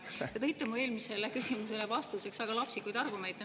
Te tõite vastuseks mu eelmisele küsimusele väga lapsikuid argumente.